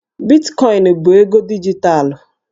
Bitkọịnụ bụ ego dijitalụ